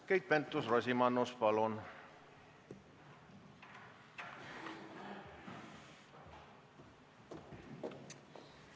Keit Pentus-Rosimannus, palun!